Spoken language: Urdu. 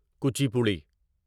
کوچیپوڑی